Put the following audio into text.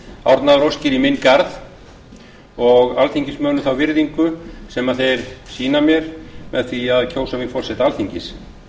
árnaðaróskir í minn garð og alþingismönnum þá virðingu sem þeir sýna mér með því að kjósa mig forseta alþingis